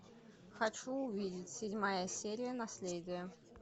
хочу увидеть седьмая серия наследие